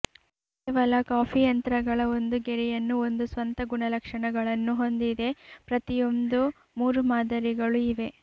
ಕೇವಲ ಕಾಫಿ ಯಂತ್ರಗಳ ಒಂದು ಗೆರೆಯನ್ನು ಒಂದು ಸ್ವಂತ ಗುಣಲಕ್ಷಣಗಳನ್ನು ಹೊಂದಿದೆ ಪ್ರತಿಯೊಂದೂ ಮೂರು ಮಾದರಿಗಳು ಇವೆ